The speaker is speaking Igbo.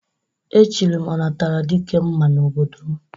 E chiri m Ọnataradikemma n'obodo m.